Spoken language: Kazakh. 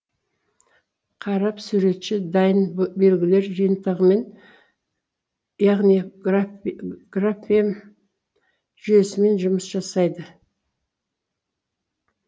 қаріп суретші дайын б белгілер жиынтығымен яғни граф графем жүйесімен жұмыс жасайды